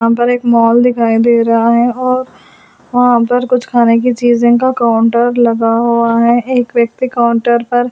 अंदर एक मॉल दिखाई दे रहा है और वहां पर कुछ खाने की चीज़ें का काउंटर लगा हुआ है एक व्यक्ति काउंटर पर --